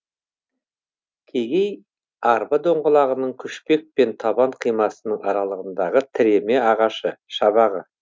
кегей арба доңғалағының күшпек пен табан қимасының аралығындағы тіреме ағашы шабағы